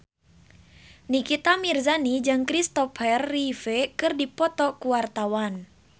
Nikita Mirzani jeung Kristopher Reeve keur dipoto ku wartawan